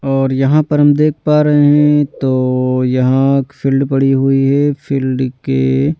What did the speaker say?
और यहां पर हम देख पा रहे हैं तो यहां फील्ड पड़ी हुई है फील्ड के--